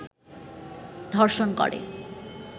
ধর্ষণ করে